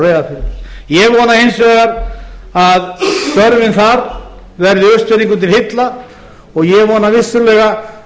reyðarfirði ég vona hins vegar að störfin þar verði austfirðingum til heilla og ég vona vissulega